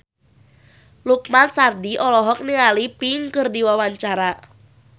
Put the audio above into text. Lukman Sardi olohok ningali Pink keur diwawancara